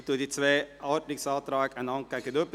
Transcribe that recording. Ich stelle die beiden Ordnungsanträge einander gegenüber.